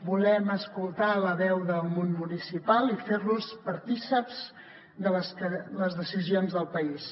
volem escoltar la veu del món municipal i fer los partícips de les decisions del país